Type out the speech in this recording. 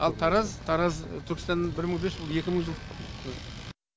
ал тараз тараз түркістанның бір мың бес жүз жыл екі мың жыл